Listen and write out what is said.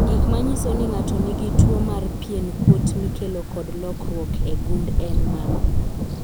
Gik manyiso ni ng'ato nigi tuwo mar pien kuot mikelo kod lokruok e gund en ang'o?